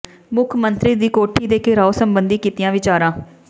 ਮੁਖ ਮੰਤਰੀ ਦੀ ਕੋਠੀ ਦੇ ਿਘਰਾਓ ਸਬੰਧੀ ਕੀਤੀਆਂ ਵਿਚਾਰਾਂ